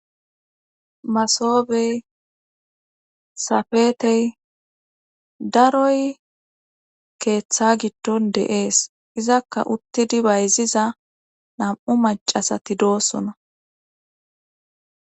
Masobey safetey daroy keeththa gitton deees izakka uttidi bayziza nam7u macasati doosona